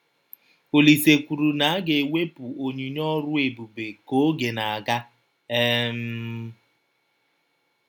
Ọlise kwụrụ na “ a ga - ewepụ ” ọnyinye ọrụ ebụbe ka ọge na - aga um